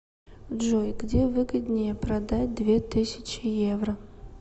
джой где выгоднее продать две тысячи евро